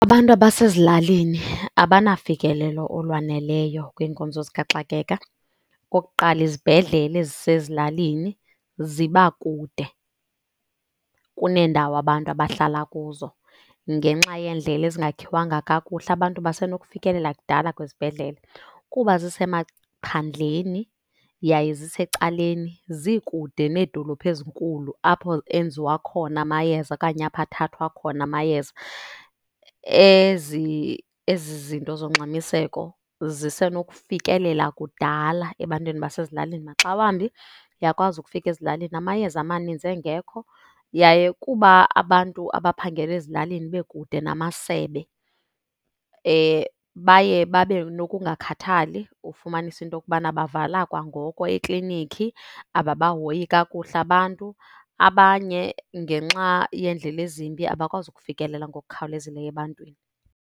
Abantu abasezilalini abanafikelelo olwaneleyo kwiinkonzo zikaxakeka. Okokuqala, izibhedlele ezisezilalini ziba kude kuneendawo abantu abahlala kuzo. Ngenxa yeendlela ezingakhiwanga kakuhle abantu basenokufikelela kudala kwizibhedlele kuba zisemaphandleni, yaye zisecaleni zikude needolophu ezinkulu apho enziwa khona amayeza okanye apho athathwa khona amayeza. Ezi zinto zongxamiseko zisenokufikelela kudala ebantwini abasezilalini maxa wambi uyakwazi ukufika ezilalini amayeza amaninzi engekho. Yaye kuba abantu abaphangela ezilalini bekude namasebe, baye babe nokungakhathali ufumanise into yokubana bavala kwangoko ekliniki, ababahoyi kakuhle abantu. Abanye ngenxa yeendlela ezimbi abakwazi kufikelela ngokukhawulezileyo ebantwini.